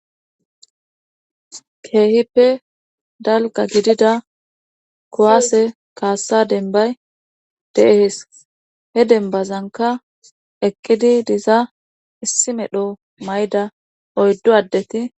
Keehippe dalga gidida kuwaase kaassa denbay deehees he denbazanka eqqidi diza issi medho may7da oyddo addeti